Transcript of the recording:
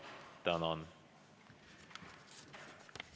Tänan!